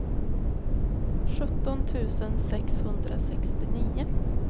sjutton tusen sexhundrasextionio